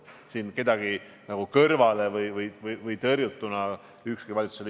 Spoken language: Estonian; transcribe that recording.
Siin ükski valitsuse liige end tõrjutuna tundma ei pea.